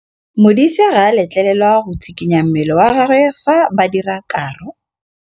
Modise ga a letlelelwa go tshikinya mmele wa gagwe fa ba dira karô.